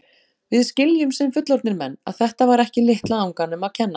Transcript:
Við skiljum, sem fullorðnir menn, að þetta var ekki litla anganum að kenna.